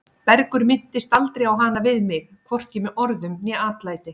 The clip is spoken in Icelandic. Bergur minntist aldrei á hana við mig, hvorki með orðum né atlæti.